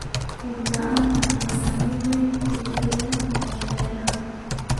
Roob la'aanta ayaa saameyn weyn ku yeelan karta beeraha.